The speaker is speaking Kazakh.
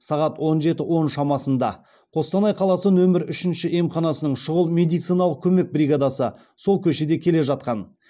сағат он жеті он шамасында қостанай қаласы нөмір үшінші емханасының шұғыл медициналық көмек бригадасы сол көшеде келе жатқан